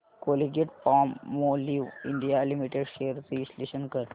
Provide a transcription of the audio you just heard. Colgate Palmolive India limited shares चे विश्लेषण कर